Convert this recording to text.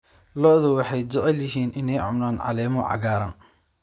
Lo'du waxay jecel yihiin inay cunaan caleemaha cagaaran.